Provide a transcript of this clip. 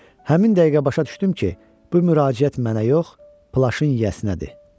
Həmin dəqiqə başa düşdüm ki, bu müraciət mənə yox, plaşın yiyəsinədir.